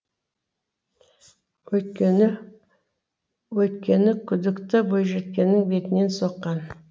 өйткені күдікті бойжеткеннің бетінен соққан